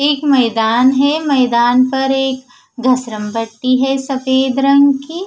एक मैदान हैं मैदान पर एक घसरमपट्टी हैं सफेद रंग की--